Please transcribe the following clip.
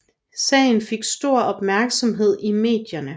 Sagen fik stor opmærksomhed i medierne